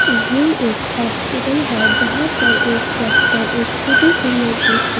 ये एक हॉस्पिटल है जहां पर एक डॉक्टर एक छोटी सी लड़की की--